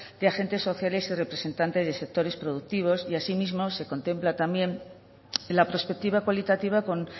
de agentes sociales y representantes de sectores productivos y asimismo se contempla también la perspectiva cualitativa con